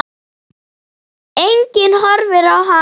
Enginn horfir á hana.